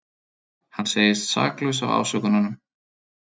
Hann segist saklaus af ásökununum